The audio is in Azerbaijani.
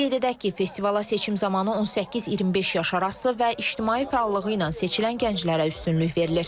Qeyd edək ki, festivala seçim zamanı 18-25 yaş arası və ictimai fəallığı ilə seçilən gənclərə üstünlük verilir.